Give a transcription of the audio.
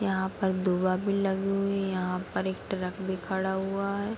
यहाँ पर धुआ भी लगी हुई है यहाँ पर एक ट्रक भी खड़ा हुआ है।